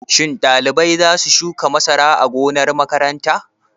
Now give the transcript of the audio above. Shin ɗalibai za su shuka masara a gonar makaranta?